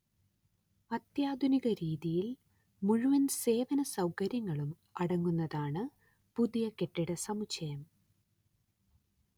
അത്യാധുനിക രീതിയിൽ മുഴുവൻ സേവന സൗകര്യങ്ങളും അടങ്ങുന്നതാണ് പുതിയ കെട്ടിടസമുച്ചയം